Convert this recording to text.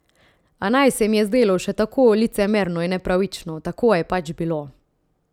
A naj se mi je zdelo še tako licemerno in nepravično, tako je pač bilo.